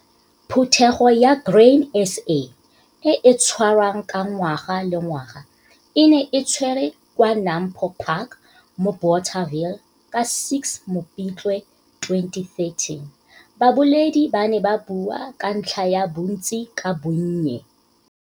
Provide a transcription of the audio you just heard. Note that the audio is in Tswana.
Phuthego ya Grain SA e e tshwarwang ka ngaga le ngwaga e ne e tshwerwe kwa Nampo Park mo Bothaville ka 6 Mopitlwe 2013. Baboledi ba ne ba bua ka ntlha ya "Bontsi ka Bonnye".